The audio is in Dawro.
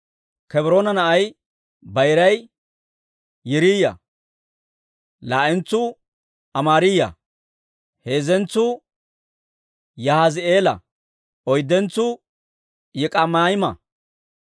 Kebroone na'ay bayiray Yiriiya; laa"entsuu Amaariyaa; heezzentsuu Yahaazi'eela; oyddentsuu Yik'ami'aama.